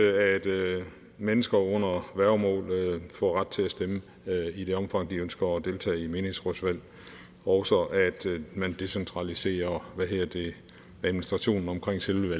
at mennesker under værgemål får ret til at stemme i det omfang de ønsker at deltage i menighedsrådsvalg og at man decentraliserer administrationen omkring selve